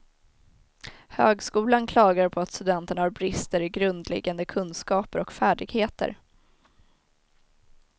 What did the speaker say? Högskolan klagar på att studenterna har brister i grundläggande kunskaper och färdigheter.